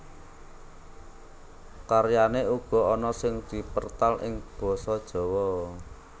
Karyané uga ana sing dipertal ing Basa Jawa